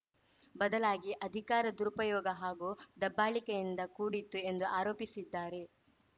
ಬದಲಾಗಿ ಅಧಿಕಾರ ದುರುಪಯೋಗ ಹಾಗೂ ದಬ್ಬಾಳಿಕೆಯಿಂದ ಕೂಡಿತ್ತು ಎಂದು ಆರೋಪಿಸಿದ್ದಾರೆ